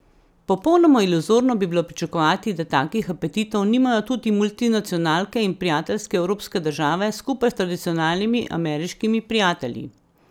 Popolnoma iluzorno bi bilo pričakovati, da takih apetitov nimajo tudi multinacionalke in prijateljske evropske države skupaj s tradicionalnimi ameriškimi prijatelji.